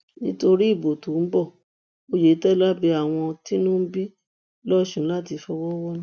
nítorí ìbò tó ń bo oyetola bẹ àwọn tínú ń bí lọsùn láti fọwọ wọnú